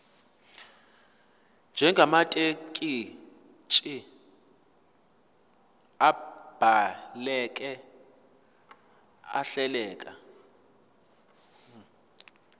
njengamathekisthi abhaleke ahleleka